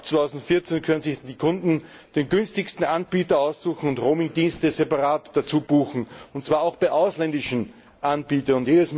Ab 2014 können sich die Kunden den günstigsten Anbieter aussuchen und Roaming Dienste separat dazubuchen, und zwar auch bei ausländischen Anbietern.